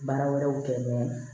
Baara wɛrɛw kɛ